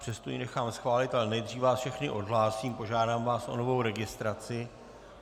Přesto ji nechám schválit, ale nejdřív vás všechny odhlásím, požádám vás o novou registraci.